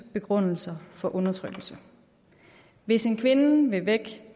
begrundelser for undertrykkelse hvis en kvinde vil væk